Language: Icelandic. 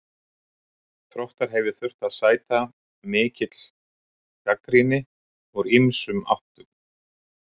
Þróttar hef ég þurft að sæta mikill gagnrýni úr ýmsum áttum.